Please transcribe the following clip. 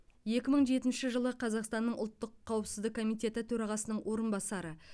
екі мың жетінші жылы қазақстанның ұлттық қауіпсіздік комитеті төрағасының орынбасары